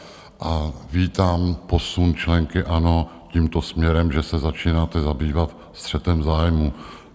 A vítám posun členky ANO tímto směrem, že se začínáte zabývat střetem zájmů.